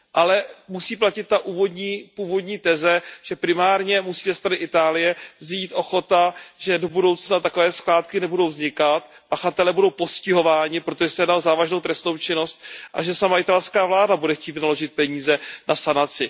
Ale musí platit ta původní teze, že primárně musí ze strany Itálie vzejít ochota, že do budoucna takové skládky nebudou vznikat, pachatelé budou postihováni, protože se jedná o závažnou trestnou činnost, a že sama italská vláda bude chtít vynaložit peníze na sanaci.